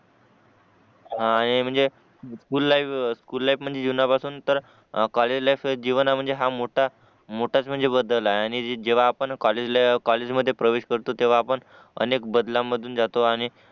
हा हे म्हणजे स्कुल लाईफ स्कुल लाईफ म्हणजे जीवनापासून तर कॉलेज लाईफ जीवन हा म्हणजे खूप मोठे मोठाच बदल आहे आणि जेव्हा आपण कॉलेज कॉलेजमध्ये प्रवेश करतो तेव्हा आपण अनेक बदलामधून जातो आणि